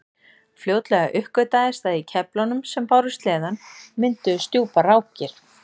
fljótlega uppgötvaðist að í keflunum sem báru sleðann mynduðust djúpar rákir